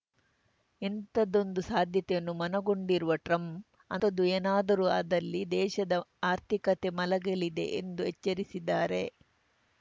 ಇಂಥದ್ದೊಂದು ಸಾಧ್ಯತೆಯನ್ನು ಮನಗೊಂಡಿರುವ ಟ್ರಂಪ್‌ ಅಂಥದ್ದು ಏನಾದರೂ ಆದಲ್ಲಿ ದೇಶದ ಆರ್ಥಿಕತೆ ಮಲಗಲಿದೆ ಎಂದು ಎಚ್ಚರಿಸಿದ್ದಾರೆ